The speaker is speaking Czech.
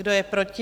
Kdo je proti?